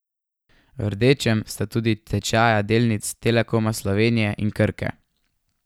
V rdečem sta tudi tečaja delnic Telekoma Slovenije in Krke.